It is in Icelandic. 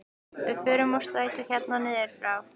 Við fórum úr strætó hérna niður frá!